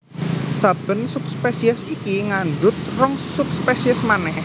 Saben subspesies iki ngandhut rong subspesies manèh